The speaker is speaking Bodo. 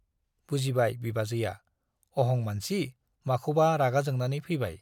बुजिबाय बिबाजैया - अहं मानसि माखौबा रागा जोंनानै फैबाय।